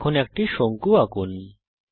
এখন একটি শঙ্কু আঁকুন